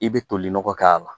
I bɛ toli nɔgɔ k'a la.